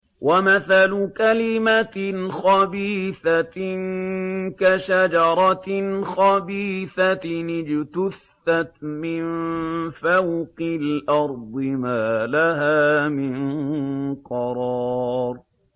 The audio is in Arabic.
وَمَثَلُ كَلِمَةٍ خَبِيثَةٍ كَشَجَرَةٍ خَبِيثَةٍ اجْتُثَّتْ مِن فَوْقِ الْأَرْضِ مَا لَهَا مِن قَرَارٍ